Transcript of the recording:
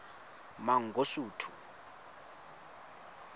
mangosuthu